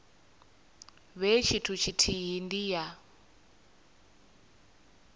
vhe tshithu tshithihi ndi ya